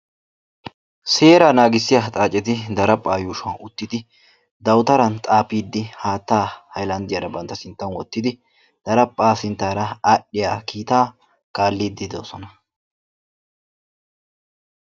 Seera naagissiya ha xaaceti daraphphaa yuushuwan uttidi dawutaran xaafiiddi haattaa bantta sinttan wottidi daraphphaa sinttaara aadhdhiya kiitaa kaalliddi doosona.